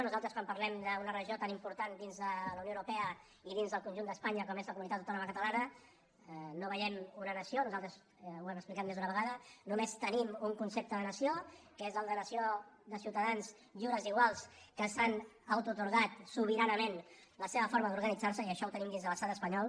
nosaltres quan parlem d’una regió tan important dins de la unió europea i dins del conjunt d’espanya com és la comunitat autònoma catalana no veiem una nació nosaltres ho hem explicat més d’una vegada només tenim un concepte de nació que és el de nació de ciutadans lliures i iguals que s’han autoatorgat sobiranament la seva forma d’organitzar se i això ho tenim dins de l’estat espanyol